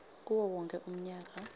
kuwo wonkhe umnyaka